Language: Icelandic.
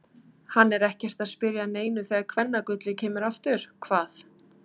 Hann er ekkert að spyrja að neinu þegar kvennagullið kemur aftur, hvað.